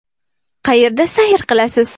Qayerda sayr qilasiz?